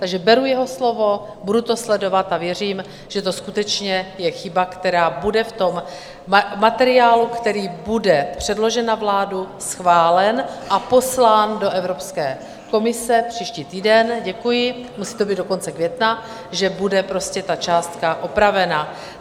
Takže beru jeho slovo, budu to sledovat a věřím, že to skutečně je chyba, která bude v tom materiálu, který bude předložen na vládu, schválen a poslán do Evropské komise příští týden, děkuji, musí to být do konce května - že bude prostě ta částka opravena.